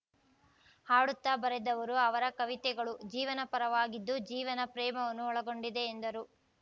ಹಾಡುತ್ತಾ ಬರೆದವರು ಅವರ ಕವಿತೆಗಳು ಜೀವನಪರವಾಗಿದ್ದು ಜೀವನ ಪ್ರೇಮವನ್ನು ಒಳಗೊಂಡಿವೆ ಎಂದರು